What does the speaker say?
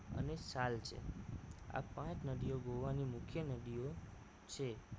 અને ચાલ છે આ પાંચ નદીઓ ગોવાની મુખ્ય નદીઓ છે